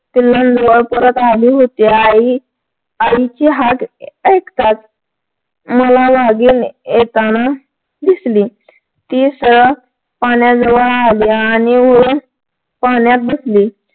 पिल्लांजवळ परत आली होती आई आईची हाक ऐकताच मला वाघीण येताना दिसली ती सरळ पाण्याजवळ आली आणि पाण्यात बसली